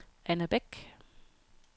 Anna Bæk